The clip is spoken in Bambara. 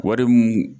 Wari mun